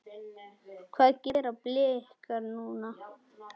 Hvað gera Blikar núna?